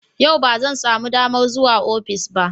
Yau ba zan samu damar zuwa ofis ba.